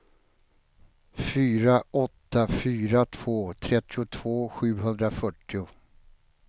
fyra åtta fyra två trettiotvå sjuhundrafyrtio